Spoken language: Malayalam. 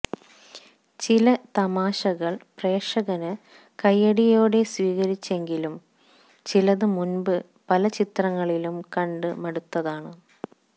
ചില തമാശകള് പ്രേക്ഷകന് കയ്യടിയോടെ സ്വീകരിച്ചെങ്കിലും ചിലത് മുമ്പ് പലചിത്രങ്ങളിലും കണ്ട് മടുത്തതാണ്